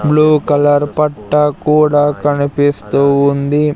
Blue colour పట్టా కూడా కనిపిస్తూ ఉంది.